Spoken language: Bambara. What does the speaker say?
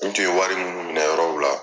N tun ye wari minnu minɛ yɔrɔw la.